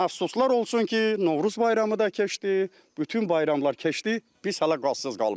Əfsuslar olsun ki, Novruz bayramı da keçdi, bütün bayramlar keçdi, biz hələ qazsız qalmışıq.